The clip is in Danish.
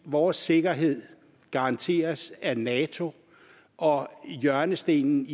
vores sikkerhed garanteres af nato og at hjørnestenen